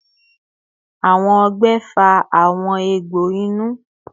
Awọn ọgbẹ fa awọn egbo inu